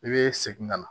I bɛ segin ka na